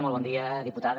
molt bon dia diputada